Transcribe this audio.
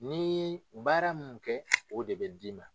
Ni ye baara mun kɛ o de bɛ d'i ma.